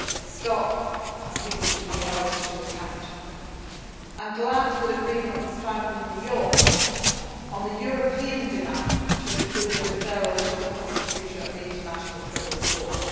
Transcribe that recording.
unacceptable it must stop and people should be held to account. I am glad that agreement was found in New York on the European demand to include a referral to the Prosecutor of the International